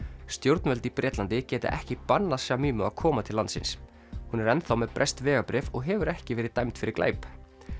stjórnvöld í Bretlandi geta ekki bannað að koma til landsins hún er enn þá með breskt vegabréf og hefur ekki verið dæmd fyrir glæp